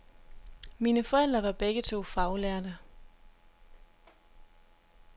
Mine forældre var begge to faglærte.